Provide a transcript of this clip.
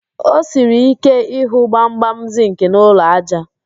O siri ike ịhụ gbamgbam zịnkị n'ụlọ ájá